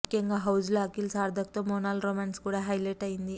ముఖ్యంగా హౌస్ లో అఖిల్ సార్తక్ తో మోనాల్ రొమాన్స్ కూడా హైలెట్ అయ్యింది